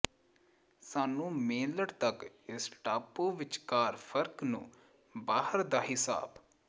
ਸਾਨੂੰ ਮੇਨਲਡ ਤੱਕ ਇਸ ਟਾਪੂ ਵਿਚਕਾਰ ਫਰਕ ਨੂੰ ਬਾਹਰ ਦਾ ਿਹਸਾਬ